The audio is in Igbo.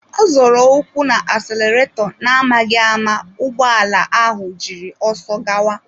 Ọ zoro ụkwụ u na-asalareto na-amaghị ama ụgbọ ala ahụ jiri ọsọ gawa.